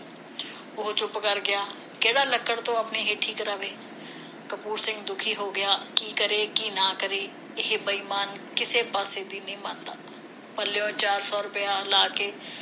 ਉਹ ਚੁੱਪ ਕਰ ਗਿਆ ਕਿਹੜਾ ਲੱਕੜ ਤੋਂ ਕਰਾਵੇ ਕਪੂਰ ਸਿੰਘ ਦੁਖੀ ਹੋ ਗਿਆ ਕੀ ਕਰੇ ਕੀ ਨਾ ਕਰੇ ਇਹ ਬੇਈਮਾਨ ਕਿਸੇ ਪਾਸੇ ਵੀ ਨਹੀਂ ਮੰਨਦਾ ਪੱਲਿਓ ਚਾਰ ਸੌ ਰੁਪਇਆ ਲਾ ਕੇ